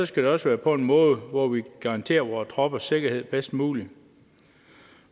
skal det også være på en måde hvor vi kan garantere vore troppers sikkerhed bedst muligt